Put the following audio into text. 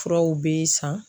Furaw bɛ san.